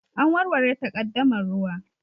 An warware takaddamar ruwa